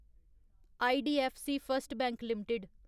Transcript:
IDFC first bank limited